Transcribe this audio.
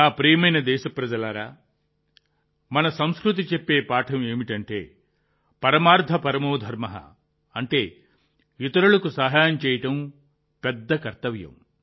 నా ప్రియమైన దేశప్రజలారా మన సంస్కృతి చెప్పే పాఠం ఏమిటంటే పరమార్థ పరమో ధర్మః అంటే ఇతరులకు సహాయం చేయడం అతి పెద్ద కర్తవ్యం